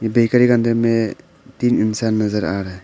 Bakery का अंदर में तीन इंसान नजर आ रहा है।